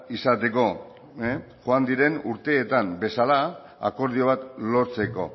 izateko joan diren urteetan bezala akordio bat lortzeko